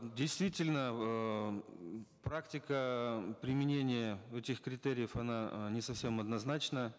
действительно эээ практика применения этих критериев она э не совсем однозначна